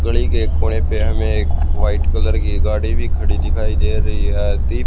गड़ी के एक कोने पे हमें एक व्हाइट कलर की गाड़ी भी खड़ी दिखाई दे रही है दि--